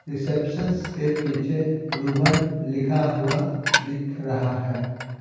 Receptions के पीछे रूबन लिखा हुआ दिख रहा है।